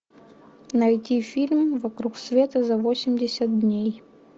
найди фильм вокруг света за восемьдесят дней